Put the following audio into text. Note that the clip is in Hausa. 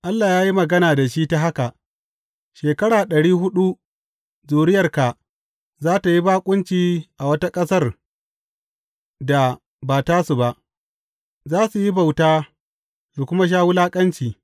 Allah ya yi magana da shi ta haka, Shekara ɗari huɗu, zuriyarka za tă yi baƙunci a wata ƙasar da ba tasu ba, za su yi bauta su kuma sha wulaƙanci.